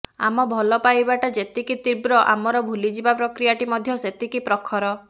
ଆମ ଭଲପାଇବାଟା ଯେତିକି ତୀବ୍ର ଆମର ଭୁଲିଯିବା ପ୍ରକ୍ରିୟାଟି ମଧ୍ୟ ସେତିକି ପ୍ରଖର